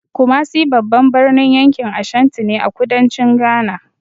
Kumasi babban birnin yankin Ashanti ne, a kudancin Ghana.